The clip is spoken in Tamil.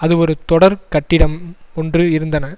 அது ஒரு தொடர் கட்டிடம் ஒன்று இருந்தன